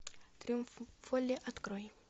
триумф воли открой